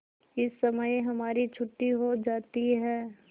इस समय हमारी छुट्टी हो जाती है